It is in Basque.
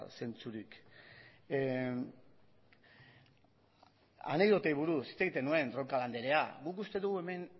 zentzurik anekdotei buruz hitz egiten nuen roncal andrea guk uste dugu hemen